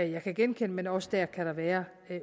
jeg kan genkende men også dér kan der være